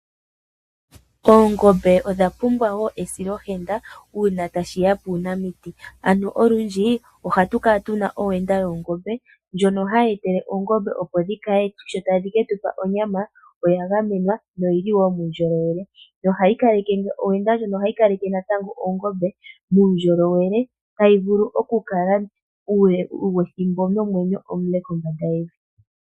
Oongombe odha pumbwa wo esilohenda ngele tashi ya puunamiti, ano olundji ohatu kala tu na owenda yoongombe ndjono hayi etele oongombe opo dhi kale sho tadhi ke tu pa onyama oya gamenwa noyi li wo muundjolowele. Owenda ndjono ohayi kaleke natango oongombe muundjolowele, tayi vulu okukala uule wethimbo nomwenyo omule kombanda yevi.